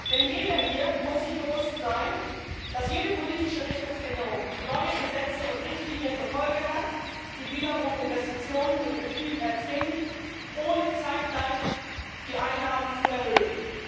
Denn jeder hier muss sich bewusst sein, dass jede politische Richtungsänderung neue Gesetze und Richtlinien zur Folge hat, die wiederum Investitionen in den Betrieben erzwingen, ohne zeitgleich die Einnahmen zu erhöhen.